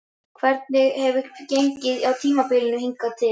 Hvernig hefur gengið á tímabilinu hingað til?